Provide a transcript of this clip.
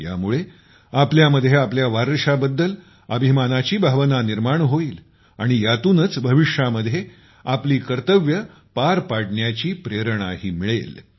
यामुळे आपल्यामध्ये आपल्या वारशाबद्दल अभिमानाची भावना निर्माण होईल आणि यातूनच भविष्यामध्ये आपली कर्तव्ये पार पाडण्याची प्रेरणाही मिळेल